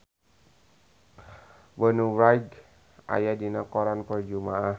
Bonnie Wright aya dina koran poe Jumaah